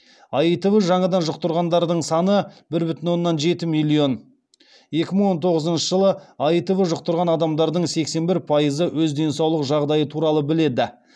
аитв жаңадан жұқтырғандардың саны бір бүтін оннан жеті миллион екі мың он тоғызыншы жылы аитв жұқтырған адамдардың сексен бір пайызы өз денсаулық жағдайы туралы біледі